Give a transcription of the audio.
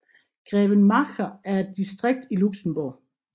Grevenmacher er et distrikt i Luxembourg